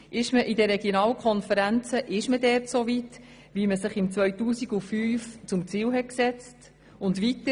Ist man in den Regionalkonferenzen so weit, wie man es sich im 2005 zum Ziel gesetzt hat?